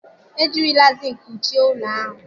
E jirila Zịnkị kpuchie ụlọ ahụ